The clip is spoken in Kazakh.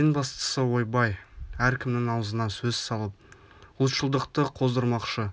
ең бастысы ойбай әркімнің аузына сөз салып ұлтшылдықты қоздырмақшы